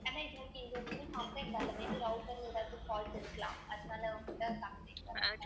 ஆனா இது okay இதுவரையிலுமே complaint வரல may be router ல எதாவது fault இருக்கலாம் அதனால